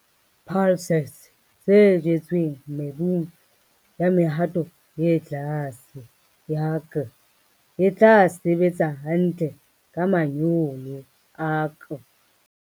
Pulses tse jetsweng mebung ya mehato e tlase ya K e tla sebetsa hantle ka manyolo a K.